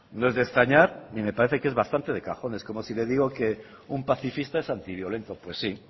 no es de extrañar y me parece que es bastante de cajón es como si le digo que un pacifista es antiviolento pues sí